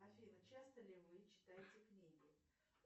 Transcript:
афина часто ли вы читаете книги